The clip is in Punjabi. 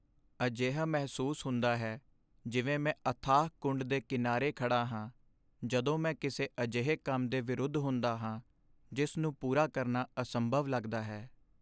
ਅਜਿਹਾ ਮਹਿਸੂਸ ਹੁੰਦਾ ਹੈ ਜਿਵੇਂ ਮੈਂ ਅਥਾਹ ਕੁੰਡ ਦੇ ਕਿਨਾਰੇ 'ਤੇ ਖੜ੍ਹਾ ਹਾਂ ਜਦੋਂ ਮੈਂ ਕਿਸੇ ਅਜਿਹੇ ਕੰਮ ਦੇ ਵਿਰੁੱਧ ਹੁੰਦਾ ਹਾਂ ਜਿਸ ਨੂੰ ਪੂਰਾ ਕਰਨਾ ਅਸੰਭਵ ਲੱਗਦਾ ਹੈ।